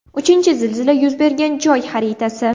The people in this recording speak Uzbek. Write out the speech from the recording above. Uchinchi zilzila yuz bergan joy xaritasi.